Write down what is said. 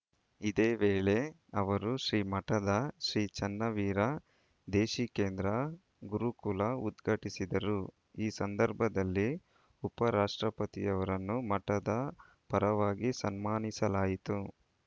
ಇದೇ ವೇಳೆ ಅವರು ಶ್ರೀಮಠದ ಶ್ರೀ ಚನ್ನವೀರ ದೇಶಿಕೇಂದ್ರ ಗುರುಕುಲ ಉದ್ಘಾಟಿಸಿದರು ಈ ಸಂದರ್ಭದಲ್ಲಿ ಉಪರಾಷ್ಟ್ರಪತಿಯವರನ್ನು ಮಠದ ಪರವಾಗಿ ಸನ್ಮಾನಿಸಲಾಯಿತು